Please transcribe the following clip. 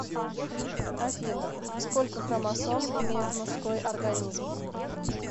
афина сколько хромосом имеет мужской организм